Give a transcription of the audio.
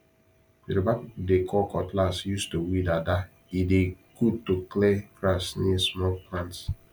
yoruba people dey call cutlass use to weed ada e dey good to clear grass near small plants